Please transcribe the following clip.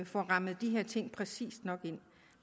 får rammet de her ting præcist nok ind